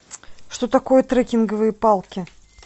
что такое трекинговые палки